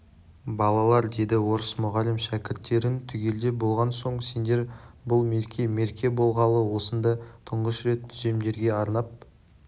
балалар деді орыс мұғалім шәкірттерін түгелдеп болған соң сендер бұл мерке мерке болғалы осында тұңғыш рет түземдерге арнап